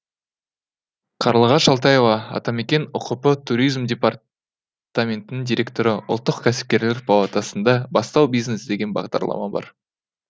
қарлығаш алтаева атамекен ұкп туризм департаментінің директоры ұлттық кәсіпкерлер палатасында бастау бизнес деген бағдарлама бар